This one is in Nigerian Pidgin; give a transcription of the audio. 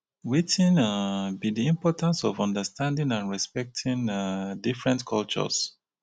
wetin um be di importance of understanding and respecting um different cultures?